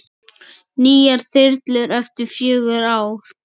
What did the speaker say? Nýjar þyrlur eftir fjögur ár?